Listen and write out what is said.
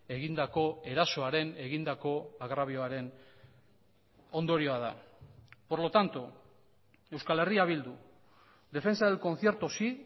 egindako erasoaren egindako agrabioaren ondorioa da por lo tanto euskal herria bildu defensa del concierto sí